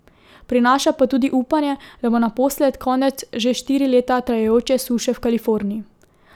Prinaša pa tudi upanje, da bo naposled konec že štiri leta trajajoče suše v Kaliforniji.